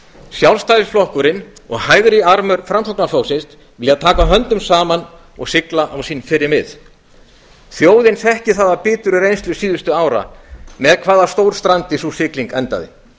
sjálfstæðisflokkurinn og hægri armur framsóknarflokksins vilja taka höndum saman og sigla á sín fyrri mið þjóðin þekkir það af biturri reynslu síðustu ára með hvaða stórstrandi sú sigling endaði